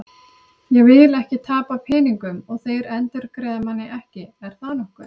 Ég vil ekki tapa peningum og þeir endurgreiða manni ekki, er það nokkuð?